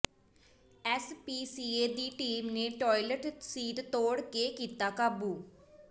SPCA ਦੀ team ਨੇ toilet seat ਤੋੜ ਕੇ ਕੀਤਾ ਕਾਬੂ